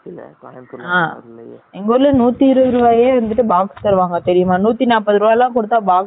எங்க ஊர்ல நூத்தி இருபது ருபாய்க்கு எல்லம் box தருவாங்க தெரிட்யுமா நூத்தி நாப்பது ருபாய்க்கு எல்லம் box தருவாங்க